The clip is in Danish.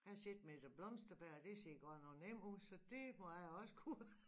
Jeg har set Mette Blomsterberg det ser godt nok nemt ud så det må jeg også kunne